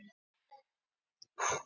Við megum hreinlega engan tíma missa